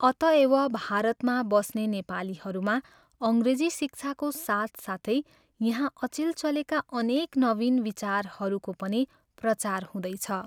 अतएव, भारतमा बस्ने नेपालीहरूमा अङ्ग्रेजी शिक्षाको साथसाथै यहाँ अचेल चलेका अनेक नवीन विचारहरूको पनि प्रचार हुँदैछ।